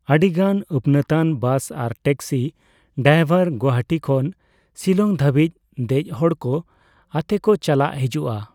ᱟᱹᱰᱤᱜᱟᱱ ᱟᱹᱯᱱᱟᱹᱛᱟᱱ ᱵᱟᱥ ᱟᱨ ᱴᱮᱠᱥᱤ ᱰᱟᱭᱵᱷᱟᱨ ᱜᱩᱣᱟᱦᱟᱹᱴᱤ ᱠᱷᱚᱱ ᱥᱤᱞᱚᱝ ᱫᱷᱟᱹᱵᱤᱡ ᱫᱮᱡ ᱦᱚᱲᱠᱚ ᱟᱛᱮ ᱠᱚ ᱪᱟᱞᱟᱜ ᱦᱤᱡᱩᱜᱼᱟ ᱾